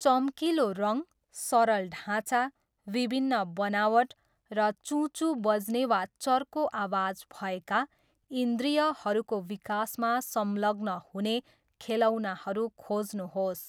चम्किलो रङ, सरल ढाँचा, विभिन्न बनावट, र चुँ चुँ बज्ने वा चर्को आवाज भएका, इन्द्रियहरूको विकासमा संलग्न हुने खेलौनाहरू खोज्नुहोस्।